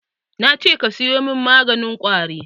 Nace ka siyo min maganin ƙwari!